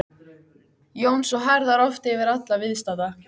Jóns og herðar oft yfir alla viðstadda.